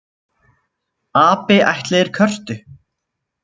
Api ættleiðir körtu